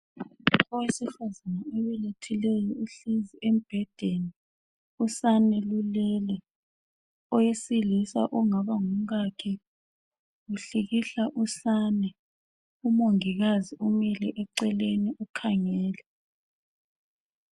Owesifazana obelethileyo uhlezi embhedeni, usane lulele. Owesilisa ongaba ngumkakhe uhlikihla usane. Umongikazi umile eceleni ukhangele.